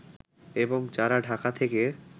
এবং যারা ঢাকা থেকে